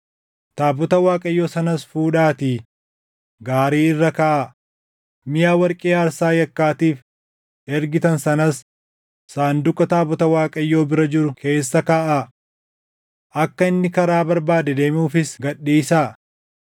Taabota Waaqayyoo sanas fuudhaatii gaarii irra kaaʼaa; miʼa warqee aarsaa yakkaatiif ergitan sanas sanduuqa taabota Waaqayyoo bira jiru keessa kaaʼaa. Akka inni karaa barbaade deemuufis gad dhiisaa;